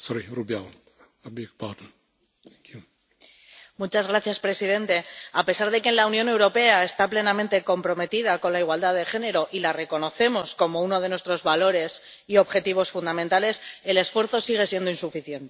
Señor presidente, a pesar de que la Unión Europea está plenamente comprometida con la igualdad de género, y de que la reconocemos como uno de nuestros valores y objetivos fundamentales, el esfuerzo sigue siendo insuficiente.